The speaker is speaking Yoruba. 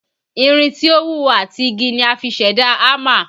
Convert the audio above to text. Irin tí ó wúwo àti igi ni a fi ṣẹ̀dá hámà